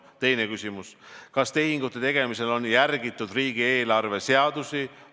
Teine küsimus: kas tehingute tegemisel on järgitud riigieelarve seadusi?